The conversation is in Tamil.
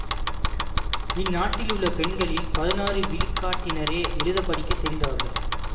இந்நாட்டில் உள்ள பெண்களில் பதினாறு விழுக்காட்டினரே எழுத படிக்க தெரிந்தவர்கள்